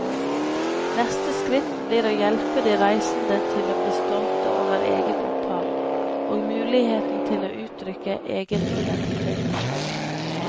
Neste skritt blir å hjelpe de reisende til å bli stolte over eget opphav, og mulighet til å uttrykke egen identitet.